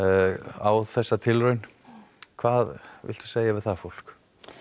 á þessa tilraun hvað viltu segja við það fólk